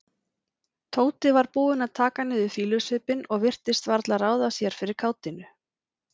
Tóti var búinn að taka niður fýlusvipinn og virtist varla ráða sér fyrir kátínu.